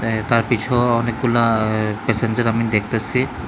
তার পিছেও অনেকগুলা পেসেঞ্জার আমি দেখতাছি।